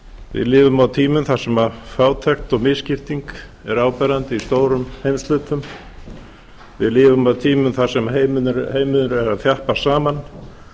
við lifum á tímum þar sem fátækt og misskipting eru áberandi í stórum heimshlutum við lifum á tímum þar sem heimurinn er að þjappast saman